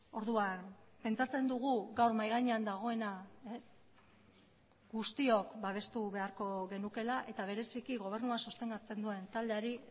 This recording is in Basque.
orduan pentsatzen dugu gaur mahai gainean dagoena guztiok babestu beharko genukeela eta bereziki gobernua sostengatzen duen taldeari